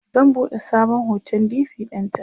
zan buɗe sabon hoton dp ɗinta